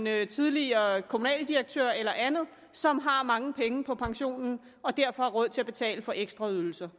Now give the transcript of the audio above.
er en tidligere kommunaldirektør eller andet som har mange penge på pensionen og derfor råd til at betale for ekstra ydelser